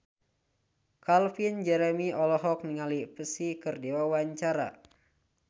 Calvin Jeremy olohok ningali Psy keur diwawancara